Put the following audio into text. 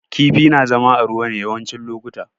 Kifi na zama a ruwa ne yawancin lokuta